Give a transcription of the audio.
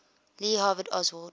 lee harvey oswald